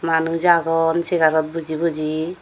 manuj agon segarot boji boji.